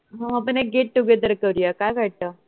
हो आपण एक get- together करूया काय वाटत